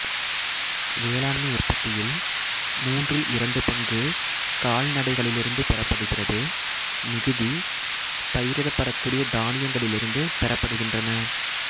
வேளாண்மை உற்பத்தியில் மூன்றில் இரண்டு பங்கு கால்நடைகளிலிருந்து பெறப்படுகிறது மிகுதி பயிரிடப்படக்கூடிய தானியங்களிலிருந்து பெறப்படுகின்றன